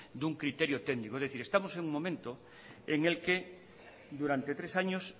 de un criterio técnico es decir estamos en un momento en el que durante tres años